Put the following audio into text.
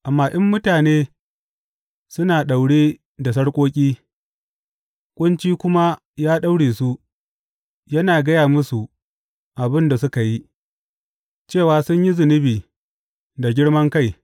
Amma in mutane suna daure da sarƙoƙi, ƙunci kuma ya daure su, yana gaya musu abin da suka yi, cewa sun yi zunubi da girman kai.